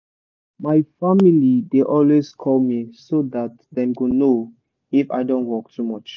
my family dey always call me so that dem go know if i don work too much.